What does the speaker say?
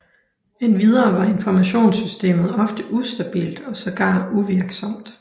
Endvidere var informationssystemet ofte ustabilt og sågar uvirksomt